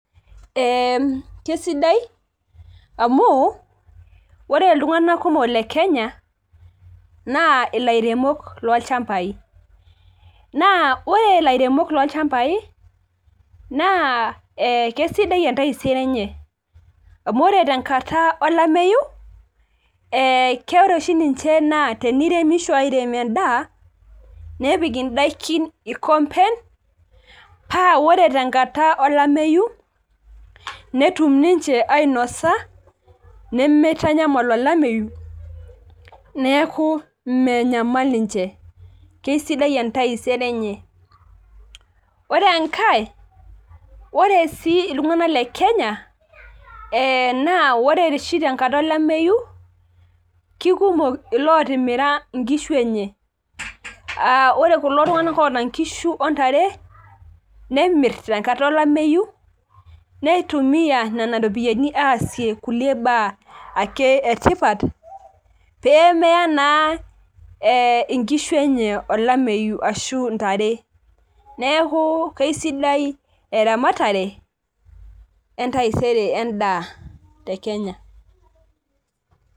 kesidai amuore iltung'anak kumok lekenya naa ilairemok loo ilchambai naa ore ilairemok loo ilchambai naa kisidai entaisere enye amu ore tengata olameyu ore oshi niche teneiremisho airem edaa nepik idaikin ilkompen paa ore tengata olameyu netum niche ainosa nemeitanyamal olameyu neeku menyamal niche kisidai entaisere enye, naa ore oshi iltung'anak lekenya naa ore oshi tengata olameyu kikumok ilotimira inkishu enye aa ore kulo tung'anak oota inkishu ontare , nemir tengata olameyu nitumiya nena ropiyiani aasie kulie baa ake etipat pee meya naa inkishu enye olameyu ashuu intare, neeku kisidai eramatare entaisere edaa tekenya.